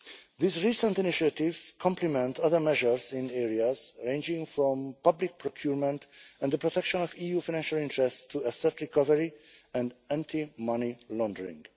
These recent initiatives complement other measures in areas ranging from public procurement and the protection of EU financial interests to asset recovery and anti money laundering.